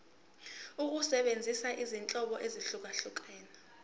ukusebenzisa izinhlobo ezahlukehlukene